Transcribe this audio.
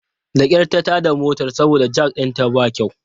Da kyar ta tada motar saboda jak ɗinta ba kyau.